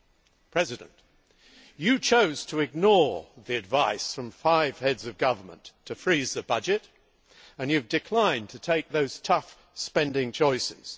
Mr Barroso, you chose to ignore the advice of five Heads of Government to freeze the budget, and you have declined to take those tough spending choices.